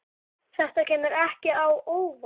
Þetta kemur ekki á óvart.